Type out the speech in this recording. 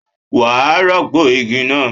Wàá rọ́pọ̀ igi náà!